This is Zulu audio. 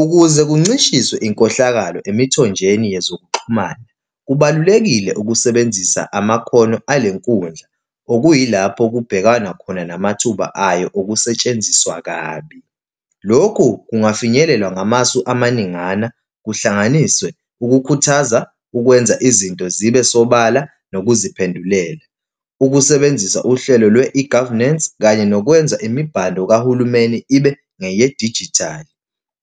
Ukuze kuncishiswe inkohlakalo emithonjeni yezokuxhumana, kubalulekile ukusebenzisa amakhono ale nkundla, okuyilapho kubhekwana khona namathuba ayo okusetshenziswa kabi. Lokhu kungafinyelelwa ngamasu amaningana, kuhlanganiswe ukukhuthaza ukwenza izinto zibe sobala nokuziphendulela, ukusebenzisa uhlelo lwe-e-governance kanye nokwenza imibhalo kahulumeni ibe ngeyedijithali,